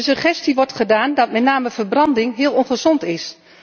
De suggestie wordt gedaan dat met name verbranding heel ongezond is.